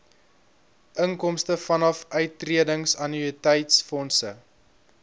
inkomste vanaf uittredingannuïteitsfondse